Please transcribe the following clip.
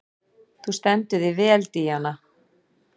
Þú stendur þig vel, Díana!